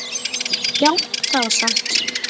Já, það var satt.